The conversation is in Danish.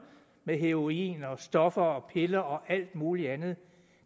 med heroin og stoffer og piller og alt muligt andet